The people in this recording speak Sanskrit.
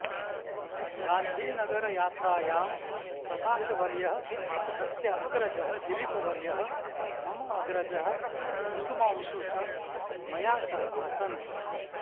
गान्धिनगरयात्रायां प्रकाशवर्यः तस्य अग्रजः दिलीपवर्यः मम अग्रजः कुसुमांशुः च मया सह आसन्